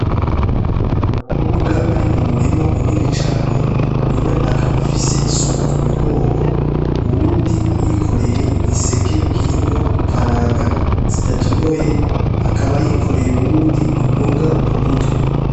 Ni abakobwa bari mu murima munini cane umwe akaba afise isuka ku mugongo uwundi ayikoreye igiseke kirimwo ikaranga zidatonoye akaba ayikoreye uwundi imboga ku mutwe.